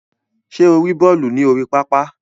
Ṣe o ri bọọlu ni orí pápá?